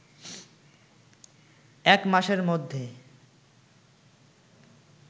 এক মাসের মধ্যে